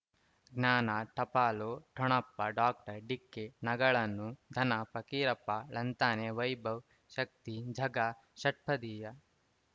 ಜ್ಞಾನ ಟಪಾಲು ಠೊಣಪ ಡಾಕ್ಟರ್ ಢಿಕ್ಕಿ ಣಗಳನು ಧನ ಫಕೀರಪ್ಪ ಳಂತಾನೆ ವೈಭವ್ ಶಕ್ತಿ ಝಗಾ ಷಟ್ಪದಿಯ